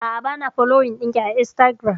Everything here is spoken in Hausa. A'a bana foloyin ɗinki a instagiram